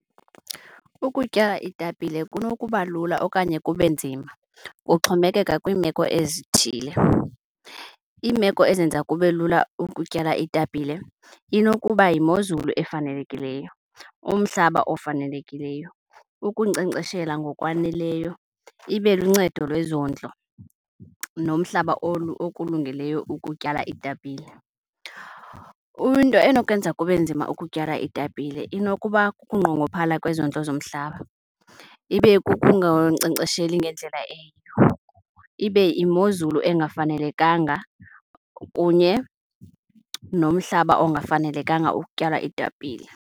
Ukutya iitapile kunokuba lula okanye kube nzima, kuxhomekeka kwiimeko ezithile. Iimeko ezenza kube lula ukutyala iitapile inokuba yimozulu efanelekileyo, umhlaba ofanelekileyo, ukunkcenkceshela ngokwaneleyo, ibe luncedo lwezondlo nomhlaba okulungeleyo ukutyala iitapile. Into enokwenza kube nzima ukutyala iitapile inokuba kukunqongophala kwezondlo zomhlaba, ibe kukungankcenkcesheli ngendlela eyiyo, ibe yimozulu engafanelekanga kunye nomhlaba ongafanelekanga ukutyala iitapile.